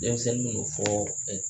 Denmisɛnnin y'o fɔ